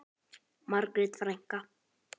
Margrét frænka.